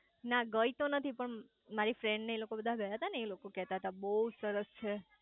ના ગઈ તો નથી પણ મારી ફ્રેન્ડને લોકો બધા ગયા તા ને એ લોકો કેતા તા બઉજ સરસ છે